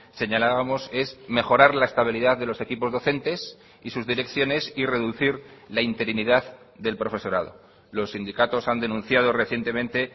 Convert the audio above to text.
señalábamos es mejorar la estabilidad de los equipos docentes y sus direcciones y reducir la interinidad del profesorado los sindicatos han denunciado recientemente